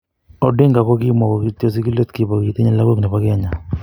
Odinga ko kimwa ko kityo sigilet kibo ketinye lagok nebo Kenya.